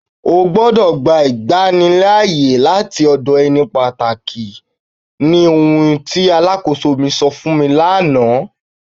Ọ gbọdọ̀ gbà ìgbànlíààyè láti ọdọ̀ ènì pátákì ní ohùn tí aláḳọ̀sọ̀ mi sọ̀ fun mi lànà.